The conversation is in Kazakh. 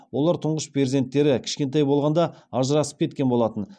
олар тұңғыш перзенттері кішкентай болғанда ажырасып кеткен болатын